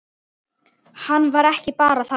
Hann var ekki bara þarna.